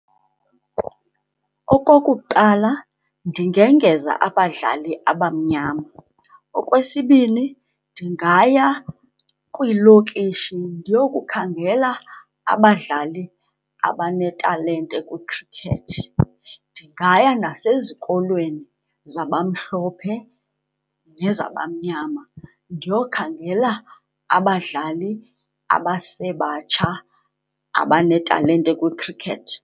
Okokuqala, ndingengeza abadlali abamnyama. Okwesibini, ndingaya kwiilokishi ndiyokukhangela abadlali abanetalente kwikhrikethi. Ndingaya nasezikolweni zabamhlophe nezabamnyama ndiyokhangela abadlali abasebatsha abanetalente kwikhrikethi.